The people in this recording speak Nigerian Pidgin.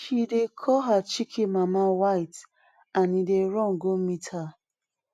she dey call her chicken mama white and e dey run go meet her